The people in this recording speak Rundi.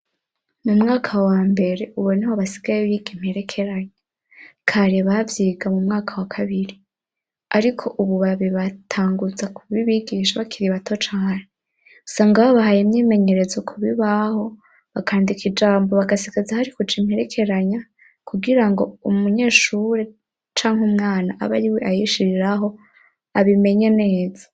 Mu mwaka wa mbere uboneho basigaye biga imperekeranya kare bavyiga mu mwaka wa kabiri, ariko, ubu babi batanguza kubibigisha bakiribato cane usanga babahaye imyimenyerezo ku bibaho bakandika ijambo bagasigaza hari kuja imperekeranya kugira ngo umunyeshure canke umwana abe ari we ayishiriraho abimenya neza.